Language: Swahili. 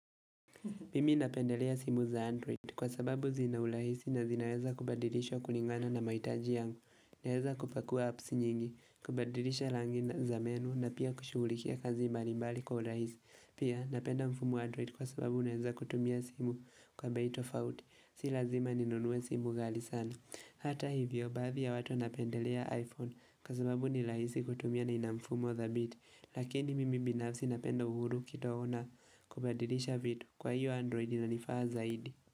Mimi napendelea simu za Android kwa sababu zina urahisi na zinaweza kubadilishwa kulingana na mahitaji yangu. Naweza kupakua apps nyingi, kubadilisha rangi za menu na pia kushughulikia kazi mbalimbali kwa urahisi. Pia napenda mfumo wa Android kwa sababu naweza kutumia simu kwa bei tofauti. Si lazima ninunue simu ghali sana. Hata hivyo, baadhi ya watu wanapendelea iPhone kwa sababu ni rahisi kutumia na ina mfumo thabiti. Lakini mimi binafsi napendo uhuru kidogo na kubadilisha vitu kwa hiyo android inanifaa zaidi.